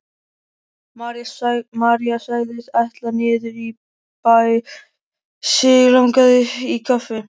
María sagðist ætla niður í bæ, sig langaði í kaffi.